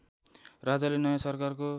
राजाले नयाँ सरकारको